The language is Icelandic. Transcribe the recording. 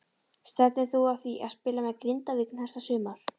Stefnir þú að því að spila með Grindavík næsta sumar?